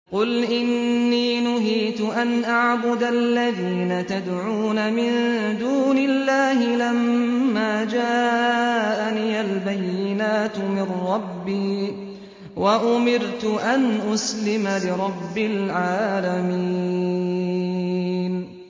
۞ قُلْ إِنِّي نُهِيتُ أَنْ أَعْبُدَ الَّذِينَ تَدْعُونَ مِن دُونِ اللَّهِ لَمَّا جَاءَنِيَ الْبَيِّنَاتُ مِن رَّبِّي وَأُمِرْتُ أَنْ أُسْلِمَ لِرَبِّ الْعَالَمِينَ